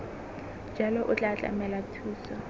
jalo o tla tlamela thuso